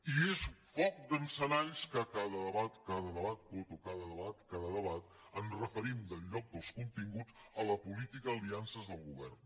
i és foc d’encenalls que a cada debat a cada debat coto a cada debat ens referim en lloc dels continguts a la política d’aliances del govern